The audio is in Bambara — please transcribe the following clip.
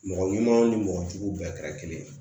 Mɔgɔ ɲumanw ni mɔgɔ juguw bɛɛ kɛra kelen ye